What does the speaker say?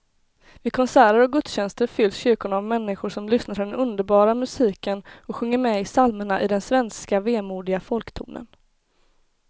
Vid konserter och gudstjänster fylls kyrkorna av människor som lyssnar till den underbara musiken och sjunger med i psalmerna i den svenska vemodiga folktonen.